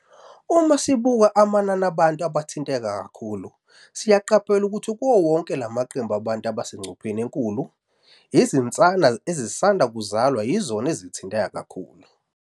"Uma sibuka amanani abantu abathinteke kakhulu, siyaqaphela ukuthi kuwo wonke lamaqembu abantu abasengcupheni enkulu, izinsana ezisanda kuzalwa yizona ezithinteka kakhulu."